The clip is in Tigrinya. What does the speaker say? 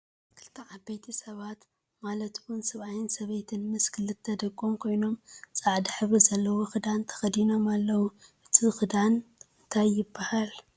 ክልተ ዓበይቲ ሰባት ማለት እውን ሰብኣይን ሰበይትን ምስ ክልተ ደቆም ኮይኖም ፃዕዳ ሕብሪ ዘለዎ ክዳን ተከዲኖም ኣለው። እቱይ ክዳን እንታይ ይብሃል?